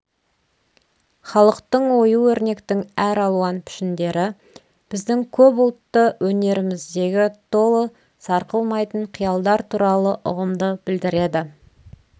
халықтың ою-өрнектің әр алуан пішіндері біздің көп ұлтты өнеріміздегі толы сарқылмайтын қиялдар туралы ұғымды білдіреді